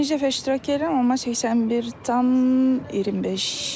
Birinci dəfə iştirak edirəm, amma 81,25.